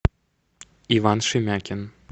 иван шемякин